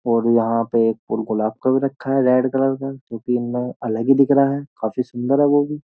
और यहां पे एक फूल गुलाब का भी रखा है रेड कलर का जो कि इनमें अलग ही दिख रहा है काफी सुंदर है वो भी।